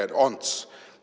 No tere, Ants!